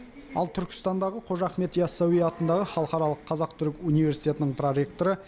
ал түркістандағы қожа ахмет ясауи атындағы халықаралық қазақ түрік университетінің проректоры